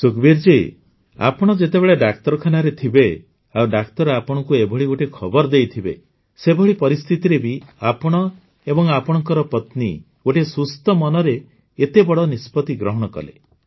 ସୁଖବୀର ଜୀ ଆପଣ ଯେତେବେଳେ ଡାକ୍ତରଖାନାରେ ଥିବେ ଆଉ ଡାକ୍ତର ଆପଣଙ୍କୁ ଏଭଳି ଗୋଟିଏ ଖବର ଦେଇଥିବେ ସେଭଳି ପରିସ୍ଥିତିରେ ବି ଆପଣ ଏବଂ ଆପଣଙ୍କ ପତ୍ନୀ ଗୋଟିଏ ସୁସ୍ଥ ମନରେ ଏତେ ବଡ଼ ନିଷ୍ପତି ଗ୍ରହଣ କଲେ